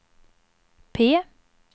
P